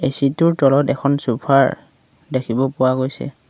Seat টোৰ তলত এখন চুফা ৰ দেখিব পোৱা গৈছে।